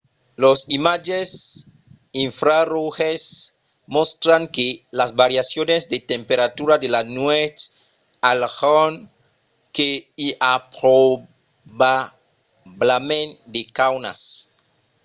los imatges infraroges mòstran que las variacions de temperatura de la nuèch al jorn que i a probablament de caunas